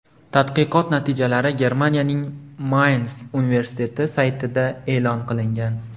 Tadqiqot natijalari Germaniyaning Mayns universiteti saytida e’lon qilingan .